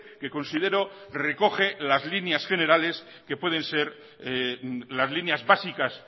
que considero recoge las líneas generales que pueden ser las líneas básicas